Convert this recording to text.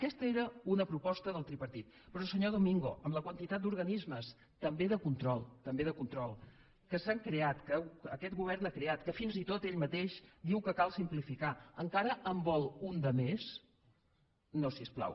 aquesta era una proposta del tripartit però senyor domingo amb la quantitat d’organismes també de control també de control que s’han creat que aquest govern ha creat que fins i tot ell mateix diu que cal simplificar encara en vol un de més no si us plau